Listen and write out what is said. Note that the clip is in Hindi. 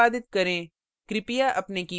program को निष्पादित करें